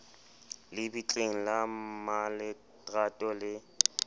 le bitleng la mmaletrato le